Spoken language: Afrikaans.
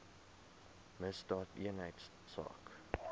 misdaadeenheidsaak